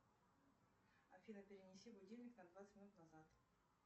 афина перенеси будильник на двадцать минут назад